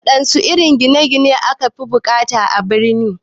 Waɗanne irin gine gine ne aka fi bukata a birane?